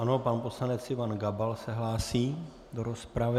Ano, pan poslanec Ivan Gabal se hlásí do rozpravy.